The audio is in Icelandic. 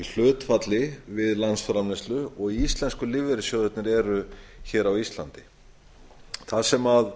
hlutfalli við landsframleiðslu og íslensku lífeyrissjóðirnir eru hér á íslandi þar sem